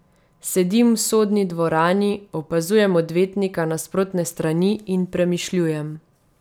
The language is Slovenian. Sedim v sodni dvorani, opazujem odvetnika nasprotne strani in premišljujem.